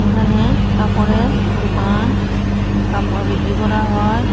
এখানে কাপড়ের দুকান কাপড় বিক্রি করা হয়।